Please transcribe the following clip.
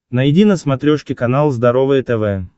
найди на смотрешке канал здоровое тв